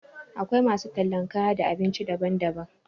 Akwai masu tallan kaya da abinci daban-daban.